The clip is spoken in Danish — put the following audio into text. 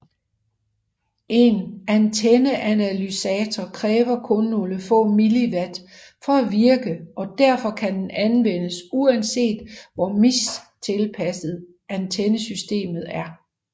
En antenneanalysator kræver kun nogle få milliwatt for at virke og derfor kan den anvendes uanset hvor mistilpasset antennesystemet er